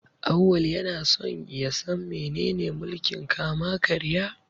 Auwal yana son ya san menene mulkin kama-karya.